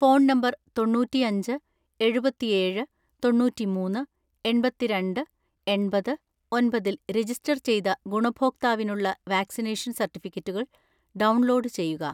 Phone number തൊണ്ണൂറ്റിഅഞ്ച് എഴുപത്തിഏഴ് തൊണ്ണൂറ്റിമൂന്ന് എണ്‍പത്തിരണ്ട് എണ്‍പത് ഒന്‍പതിൽ രജിസ്റ്റർ ചെയ്ത ഗുണഭോക്താവിനുള്ള വാക്സിനേഷൻ സർട്ടിഫിക്കറ്റുകൾ ഡൗൺലോഡ് ചെയ്യുക.